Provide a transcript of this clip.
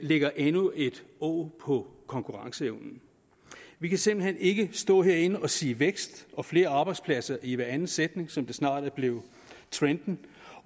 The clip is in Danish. lægger endnu et åg på konkurrenceevnen vi kan simpelt hen ikke stå herinde og sige vækst og flere arbejdspladser i hver anden sætning som det snart er blevet trenden